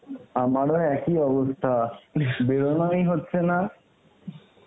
আমারও একই অবস্থা বেরোনই হচ্ছে না.